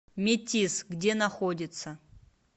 метиз где находится